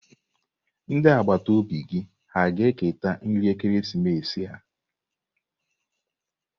Ndị agbata obi gị hà ga-eketa nri ekeresimesi a?